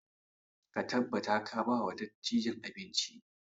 Ka tabbata ka ba wa dattijan abinci!